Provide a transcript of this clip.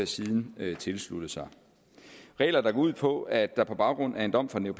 siden tilsluttede sig regler der går ud på at der på baggrund af en dom fra den